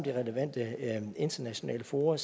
relevante internationale fora